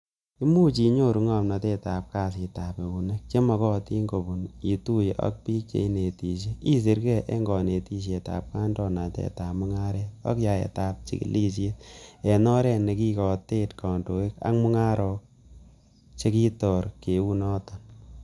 Imuche inyoru ngomnotet ab kasitab eunek chemokotin kobun ituye ak bik cheinetisye, isirge en konetishietab kandoinatet ab mungaret ak yaetab chigilisiet en oret nekikotet kondoik ab mungarok chekibor kioton.